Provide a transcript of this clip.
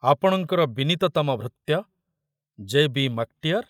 ଆପଣଙ୍କର ବିନୀତତମ ଭୃତ୍ୟ ଜେ.ବି. ମାକଟିଅର